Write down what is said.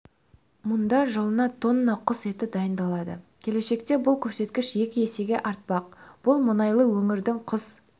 мұнда жылына тонна құс еті дайындалады келешекте бұл көрсеткіш екі есеге артпақ бұл мұнайлы өңірдің құс